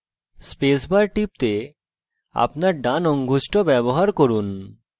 space bar টিপতে আপনার ডান অঙ্গুষ্ঠ bar করুন